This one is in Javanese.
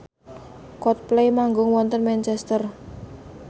Coldplay manggung wonten Manchester